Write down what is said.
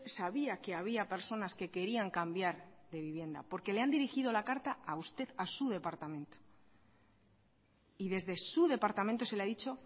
sabía que había personas que querían cambiar de vivienda porque le han dirigido la carta a usted a su departamento y desde su departamento se le ha dicho